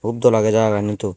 hup dol agey jaga ani tui.